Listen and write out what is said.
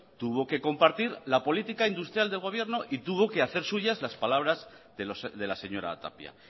tuvo que compartir la política industrial del gobierno y tuvo que hacer suyas las palabras de la señora tapia